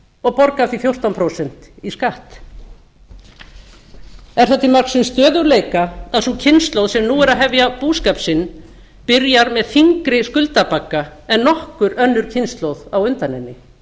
og borga af því fjórtán prósent í skatt er það til marks um stöðugleika að sú kynslóð sem nú er að hefja búskap sinn byrjar með þyngri skuldabagga en nokkur önnur kynslóð á undan henni